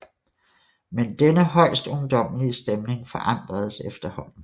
Men denne højst ungdommelige stemning forandredes efterhånden